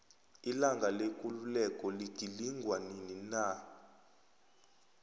ilanga lekululeko ligilingwa nini na